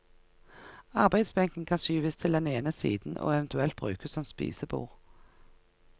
Arbeidsbenken kan skyves til den ene siden og eventuelt brukes som spisebord.